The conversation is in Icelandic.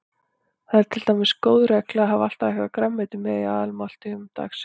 Það er til dæmis góð regla að hafa alltaf eitthvert grænmeti með í aðalmáltíðum dagsins.